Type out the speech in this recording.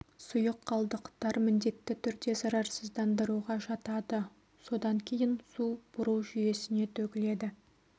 сұйық қалдықтар міндетті түрде зарарсыздандыруға жатады содан кейін су бұру жүйесіне төгіледі